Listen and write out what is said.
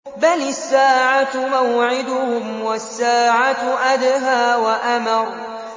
بَلِ السَّاعَةُ مَوْعِدُهُمْ وَالسَّاعَةُ أَدْهَىٰ وَأَمَرُّ